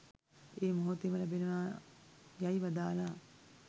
ඒ මොහොතේම ලැබෙනවා යැයි වදාළා.